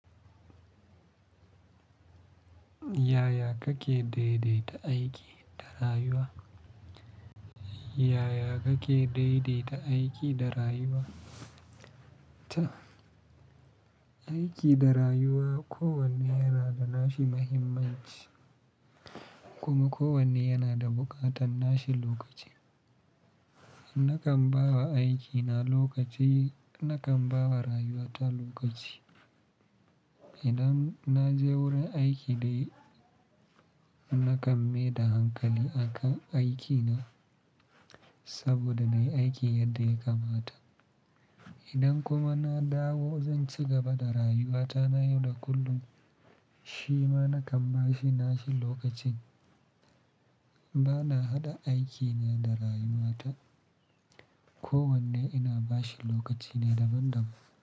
Yaya kake daidaita aiki da rayuwa? Yaya kake daidaita aiki da rayuwa? Ta aiki da rayuwa ko wanne yanada nashi muhimmanci kuma ko wanne yana da buƙatan nashi lokaci. Nakan bawa aikina lokaci, nakan bawa rayuwata lokaci. Idan naje wurin aiki dai nakan maida hankali aka aikine saboda nayi aiki yadda yakamata. Idan kuma na dawo zanci gaba da rayuwata na yau da kullum. Shima nakan bashi nashi lokacin. Bana haɗa aikina da rayuwata, ko wanne ina bashi lokacina daban-daban.